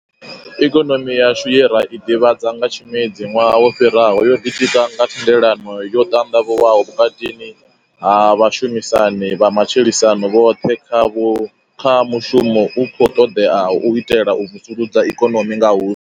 Ikonomi yashu ye ra i ḓivhadza nga tshimedzi ṅwaha wo fhiraho yo ḓitika nga thendelano yo ṱanḓavhuwaho vhukati ha vha shumisani vha matshilisano vhoṱhe kha mushumo u khou ṱoḓeaho u itela u vusuludza ikonomi nga hu.